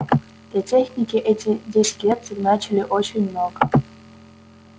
для техники эти десять лет значили очень много